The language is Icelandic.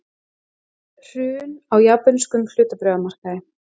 Hrun á japönskum hlutabréfamarkaði